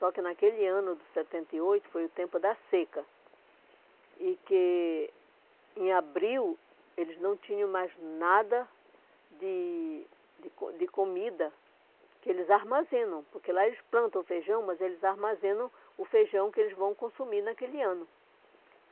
Só que naquele ano de setenta e oito foi o tempo da seca e que em abril eles não tinham mais nada de de co de comida que eles armazenam, porque lá eles plantam feijão, mas eles armazenam o feijão que eles vão consumir naquele ano.